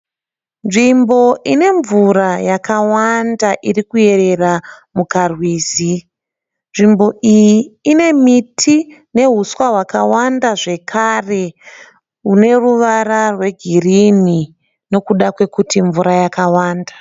Nzvimbo ine mvura yakawanda iri kuyerera mukarwizi. Nzvimbo iyi ine miti nehuswa hwakawanda zvekare hune ruvara rwegirinhi nekuda kwekuti mvura yakawanda.